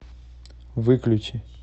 выключи